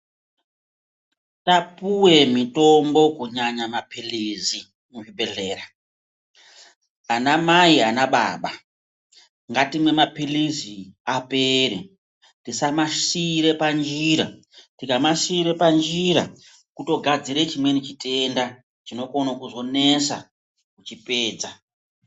Tapuwe mutombo kunyanya paphilizi muzvibhedhlera, anamai anababa ngatimwe maphilizi apere tisamasiira panjira. Tikamasiira panjira kutogadzire chimweni chitenda chinokone kuzonesa kuchipedza.